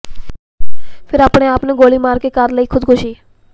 ਫਿਰ ਆਪਣੇ ਆਪ ਨੂੰ ਗੋਲੀ ਮਾਰ ਕੇ ਕਰ ਲਈ ਖੁਦਕੁਸ਼ੀ